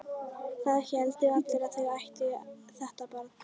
Það héldu allir að þau ættu þetta barn.